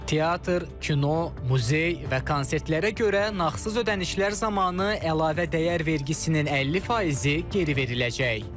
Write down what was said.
Teatr, kino, muzey və konsertlərə görə nağdsız ödənişlər zamanı əlavə dəyər vergisinin 50 faizi geri veriləcək.